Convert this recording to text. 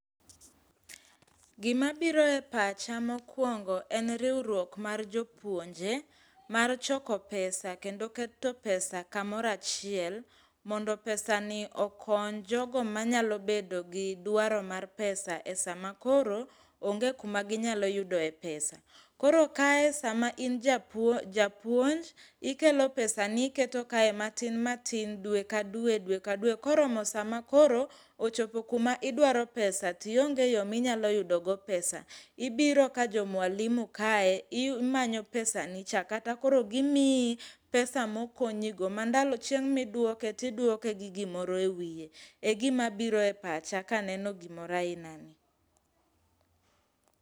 Gimabiro e pacha mokwongo en riwruok mar jopuonje, mar choko pesa kendo keto pesa kamoro achiel mondo pesani okony jogo manyalo bedo gi dwaro mar pesa e sama koro onge kuma ginyalo yude pesa. Koro kae sama in japuonj, ikelo pesani iketo kae matin matin dwe ka dwe, dwe ka dwe, koromo sama koro ochopo kuma idwaro pesa tionge yo ma inyalo yudogo pesa. Ibiro ka jo Mwalimu kae, imanyo pesani cha, kata koro gimiyi pesa mokonyigo ma chieng' midwoke, tidwoke gi gimoro e wiye,e gimabiro e pacha kaneno gimoro aina ni.